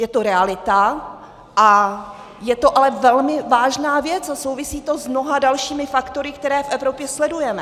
Je to realita a je to ale velmi vážná věc a souvisí to s mnoha dalšími faktory, které v Evropě sledujeme.